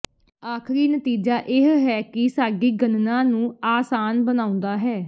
ਆਖਰੀ ਨਤੀਜਾ ਇਹ ਹੈ ਕਿ ਸਾਡੀ ਗਣਨਾ ਨੂੰ ਆਸਾਨ ਬਣਾਉਂਦਾ ਹੈ